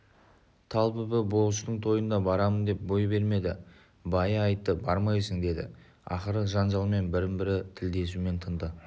талбүбі болыстың тойына барамын деп бой бермеді байы айтты бармайсың деді ақыры жанжалмен бірін-бірі тілдесумен тынды